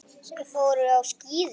Þau fóru á skíði saman.